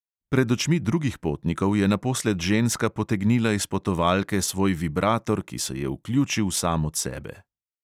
Pred očmi drugih potnikov je naposled ženska potegnila iz potovalke svoj vibrator, ki se je vključil sam od sebe.